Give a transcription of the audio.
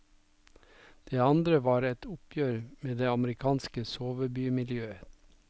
Det andre var et oppgjør med det amerikanske sovebymiljøet.